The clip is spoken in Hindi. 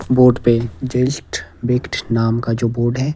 बोर्ड पे जस्ट बेक्ड नाम का जो बोर्ड है।